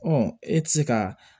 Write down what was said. e tɛ se ka